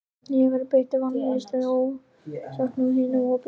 Ég hef verið beittur valdníðslu og ofsóknum af hinu opinbera.